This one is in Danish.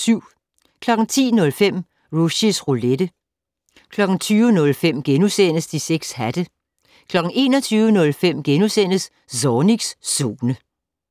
10:05: Rushys Roulette 20:05: De 6 hatte * 21:05: Zornigs Zone *